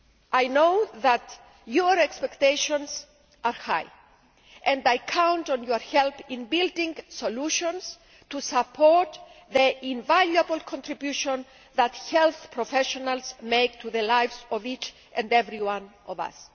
I know that your expectations are high, and I count on your help in building solutions to support the invaluable contribution that health professionals make to the lives of each and every one of us.